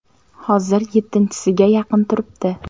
Hozir yettinchisiga yaqin turibdi.